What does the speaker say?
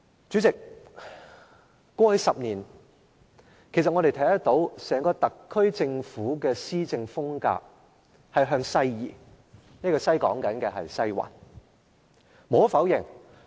主席，過去10年，我們看到整個特區政府的施政風格向西移，我指的是移向"西環"。